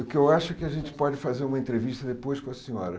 O que eu acho é que a gente pode fazer uma entrevista depois com a senhora.